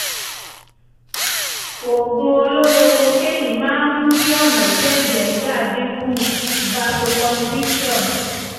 oògùn olóró kokéènì máa ń mú kí ọ̀nà tí ẹ̀jẹ̀ ń gbà dín kù (vasoconstriction)